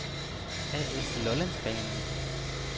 A/S Lollandsbanen